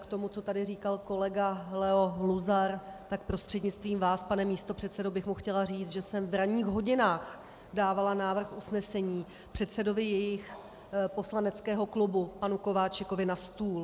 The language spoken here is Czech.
K tomu, co tady říkal kolega Leo Luzar, tak prostřednictvím vás, pane místopředsedo, bych mu chtěla říct, že jsem v ranních hodinách dávala návrh usnesení předsedovi jejich poslaneckého klubu panu Kováčikovi na stůl.